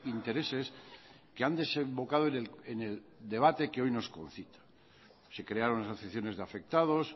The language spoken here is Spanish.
intereses que han desembocado en el debate que hoy nos concita se crearon asociaciones de afectados